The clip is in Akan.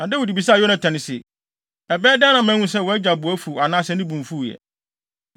Na Dawid bisaa Yonatan se, “Ɛbɛyɛ dɛn na mahu sɛ wʼagya bo afuw anaasɛ ne bo mfuw ɛ?”